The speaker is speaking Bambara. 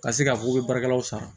Ka se k'a fɔ k'u bɛ baarakɛlaw sara